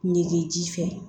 Nege ji fɛ